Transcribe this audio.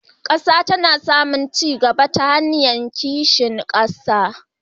Ƙasa tana samun ci gaba ta hanyar kishin ƙasa.